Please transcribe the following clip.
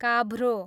काभ्रो